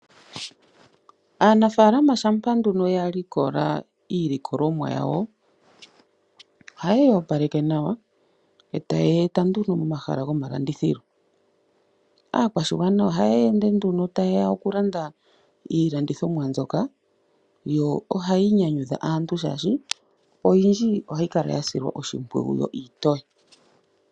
Aanafaalama shampa nduno ya likola iilikolomwa yawo ohaye yi opaleke nawa e taye yi eta momahala gomalandithilo. Aakwashigwana ohaya ende nduno taye ya okulanda iilandithomwa mbyoka yo ohayi nyanyudha aantu, oshoka oyindji ohayi kala ya silwa oshimpwiyu yo iitoye.